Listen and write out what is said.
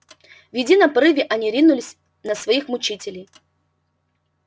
в едином порыве они ринулись на своих мучителей